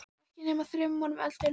Og ekki nema þremur árum eldri en hún.